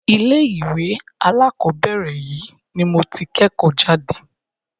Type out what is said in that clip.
ilé ìwé alákọ̀berẹ̀ yìí ni mo tí kẹ́kọ̀ọ́ jáde.